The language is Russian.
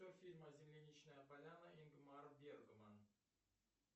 фильм земляничная поляна ингмар бергман